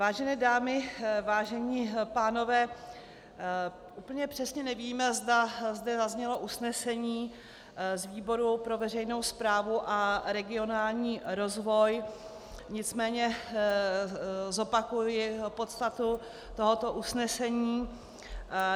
Vážené dámy, vážení pánové, úplně přesně nevím, zda zde zaznělo usnesení z výboru pro veřejnou správu a regionální rozvoj, nicméně zopakuji podstatu tohoto usnesení.